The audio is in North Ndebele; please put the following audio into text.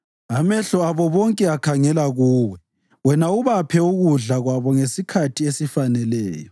Amehlo abo bonke akhangela kuwe, wena ubaphe ukudla kwabo ngesikhathi esifaneleyo.